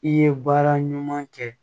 I ye baara ɲuman kɛ